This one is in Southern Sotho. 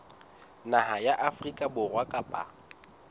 naha ya afrika borwa kapa